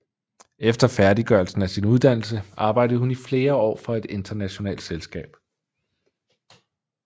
Efter færdiggørelsen af sin uddannelse arbejdede hun i flere år for et internationalt selskab